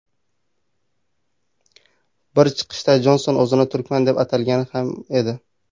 Bir chiqishida Jonson o‘zini turkman deb atagan ham edi.